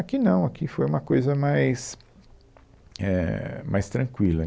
Aqui não, aqui foi uma coisa mais, éh, mais tranquila.